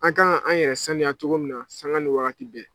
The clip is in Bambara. An ka kan an yɛrɛ sanuya cogo min na sanga ni waati bɛɛ